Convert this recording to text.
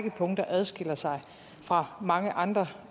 række punkter adskiller sig fra mange andre